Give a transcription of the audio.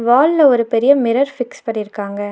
வால்ல ஒரு பெரிய மிரர் ஃபிக்ஸ் பண்ணிருக்காங்க.